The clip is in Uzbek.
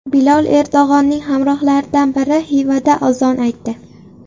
Bilol Erdo‘g‘onning hamrohlaridan biri Xivada azon aytdi .